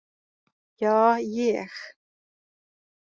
Ja, ég.